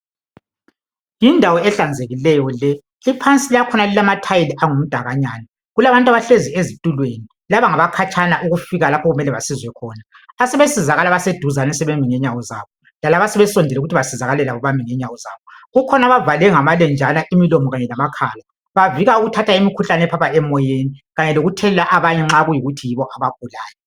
Yindawo ehlanzekileyo le iphansi yakhona ilamathayili angumdakanyana. Kulabantu abahlezi ezitulweni laba ngabakhatshana ukufika lapho okumele bazizwe khona asebesizakala abaseduzane sebemi ngenyawo zabo lalabo asebesondele ukuthi basizakale bami ngenyawo zabo. Kukhona abavale ngamalenjana imilomo kanye lamakhala bavika ukuthatha imikhuhlane ephapha emoyeni kanye lokuthelela abanye nxa kuyikuthi yibo abagulayo.